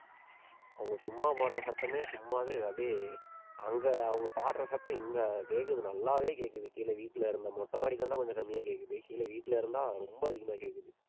அவங்க சும்மா போடுற சத்தமே சும்மாவே அப்படியே அங்க அவங்க பாடுற சத்தம் இங்க கேக்குது நல்லாவே கேக்குது கீழ வீட்டுல இருந்து, மொட்டை மாடிக்கு வந்தா கொஞ்சம் கம்மியா கேக்குது, கீழ வீட்டுல இருந்தா ரொம்ப அதிகமா கேக்குது